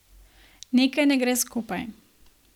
Nekaj ne gre skupaj.